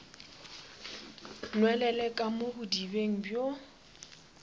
nwelele ka mo bodibeng bjo